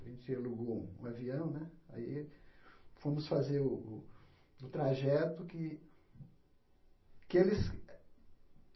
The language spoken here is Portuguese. A gente alugou um avião né, aí fomos fazer o o o trajeto que que eles